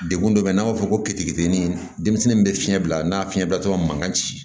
Degun dɔ bɛ n'a fɔ keteketeni denmisɛnnin bɛ fiɲɛ bila n'a fiɲɛ bila tɔ ma mankan ci